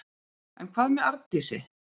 En hvað með Arndísi?